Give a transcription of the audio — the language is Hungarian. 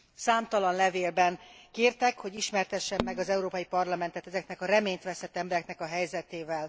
Számtalan levélben kértek, hogy ismertessem meg az Európai Parlamentet ezeknek a reményvesztett embereknek a helyzetével.